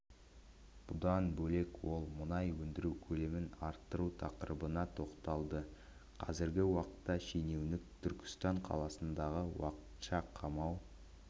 бұдан бөлек ол мұнай өндіру көлемін арттыру тақырыбына тоқталды қазіргі уақытта шенеунік түркістан қаласындағы уақытша қамау